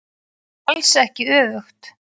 En alls ekki öfugt.